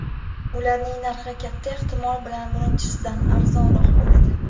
Ularning narxi katta ehtimol bilan birinchisidan arzonroq bo‘ladi.